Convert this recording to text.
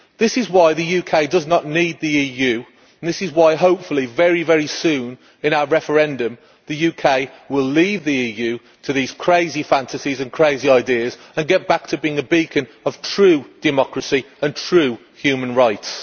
This is why the UK does not need the EU and this is why hopefully very, very soon in our referendum the UK will leave the EU to these crazy fantasies and crazy ideas and get back to being a beacon of true democracy and true human rights.